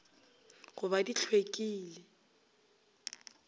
go ba di hlw ekile